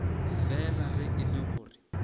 fela ge e le gore